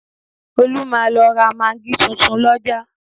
Olú máa lọ ra magí tuntun lọ́jà